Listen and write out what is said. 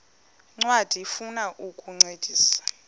ncwadi ifuna ukukuncedisa